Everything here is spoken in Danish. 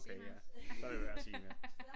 Okay ja så lader vi være at sige mere